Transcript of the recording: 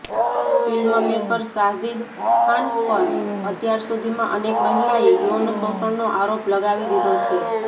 film maker Sajid Khan પર અત્યાર સુધીમાં અનેક મહિલાએ યૌન શોષણનો આરોપ લગાવી દીધો છે